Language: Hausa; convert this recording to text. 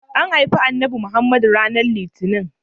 An haifi Annabi Muhammad ranar litinin.